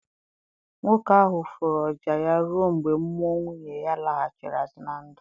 Nwoke ahụ fụrụ oja ya ruọ mgbe mmụọ nwunye ya laghachiri azụ na ndụ.